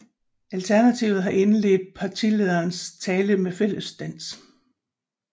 Alternativet har indledt partilederens tale med fællesdans